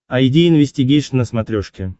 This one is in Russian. айди инвестигейшн на смотрешке